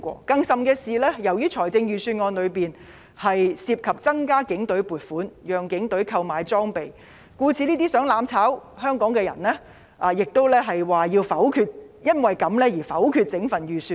更甚的是，由於預算案中涉及增加警隊撥款，讓警隊購買裝備，故此這些企圖"攬炒"香港的人也表示因而要否決整份預算案。